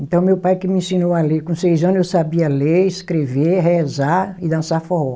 Então, meu pai que me ensinou a ler, com seis anos eu sabia ler, escrever, rezar e dançar forró.